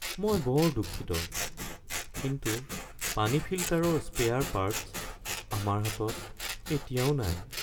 মই বৰ দুঃখিত কিন্তু পানী ফিল্টাৰৰ স্পেয়াৰ পাৰ্টছ্ আমাৰ হাতত এতিয়াও নাই (সেৱা প্ৰদানকাৰী)